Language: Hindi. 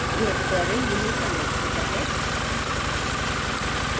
यह tutorial यहीं समाप्त होता है